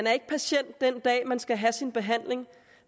er patient den dag man skal have sin behandling